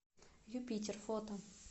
юпитер фото